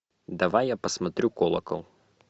давай я посмотрю колокол